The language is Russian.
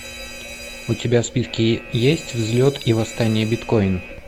у тебя в списке есть взлет и восстание биткоин